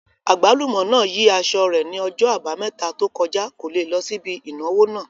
Àgbálùmọ́ náà yí aṣọ rẹ̀ ní ọjọ́ àbámẹ́ta tó kọjá, kò le lọ síbi ìnáwó náà